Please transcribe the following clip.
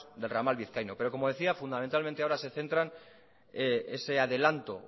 del ramal vizcaíno pero como decía fundamentalmente ahora se centran ese adelante